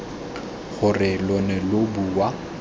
gore lo ne lo bua